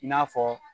I n'a fɔ